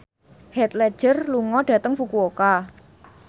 Heath Ledger lunga dhateng Fukuoka